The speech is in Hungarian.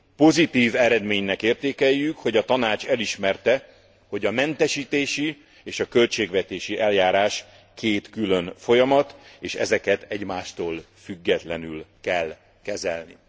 Pozitív eredménynek értékeljük, hogy a Tanács elismerte, hogy a mentesítési és a költségvetési eljárás két külön folyamat, és ezeket egymástól függetlenül kell kezelni.